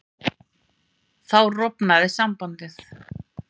Þá rofnaði sambandið.